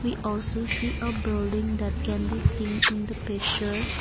we also see a building that can be seen in the picture.